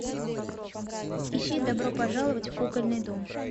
ищи добро пожаловать в кукольный дом